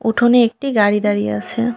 উঠোনে একটি গাড়ি দাঁড়িয়ে আছে .